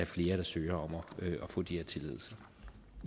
flere der søger om at få de